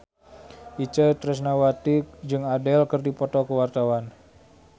Itje Tresnawati jeung Adele keur dipoto ku wartawan